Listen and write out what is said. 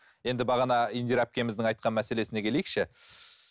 енді бағана индира әпкеміздің айтқан мәселесіне келейікші